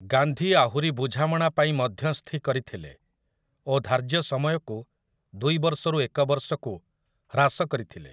ଗାନ୍ଧୀ ଆହୁରି ବୁଝାମଣାପାଇଁ ମଧ୍ୟସ୍ଥି କରିଥିଲେ ଓ ଧାର୍ଯ୍ୟ ସମୟକୁ ଦୁଇ ବର୍ଷରୁ ଏକ ବର୍ଷକୁ ହ୍ରାସ କରିଥିଲେ ।